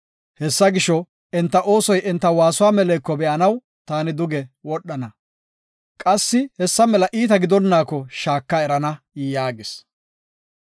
Hessa gisho, enta oosoy enta waasuwa meleko be7anaw taani duge wodhana; qassi hessa mela iita gidonaako shaaka erana” yaagis.